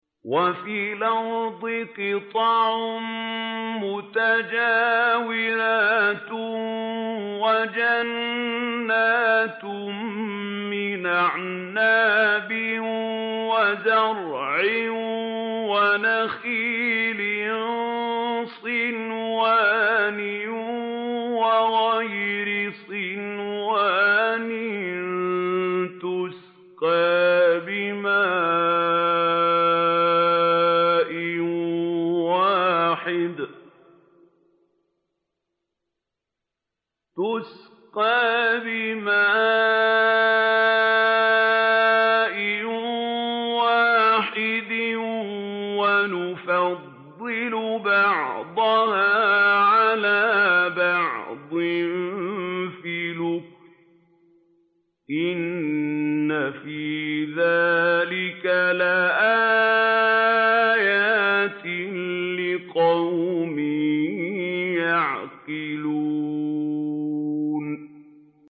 وَفِي الْأَرْضِ قِطَعٌ مُّتَجَاوِرَاتٌ وَجَنَّاتٌ مِّنْ أَعْنَابٍ وَزَرْعٌ وَنَخِيلٌ صِنْوَانٌ وَغَيْرُ صِنْوَانٍ يُسْقَىٰ بِمَاءٍ وَاحِدٍ وَنُفَضِّلُ بَعْضَهَا عَلَىٰ بَعْضٍ فِي الْأُكُلِ ۚ إِنَّ فِي ذَٰلِكَ لَآيَاتٍ لِّقَوْمٍ يَعْقِلُونَ